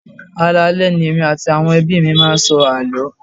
Alaale ni èmi àti àwọn ẹbí mi máa ń sọ àló.